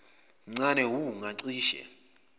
mncane wu ngacishe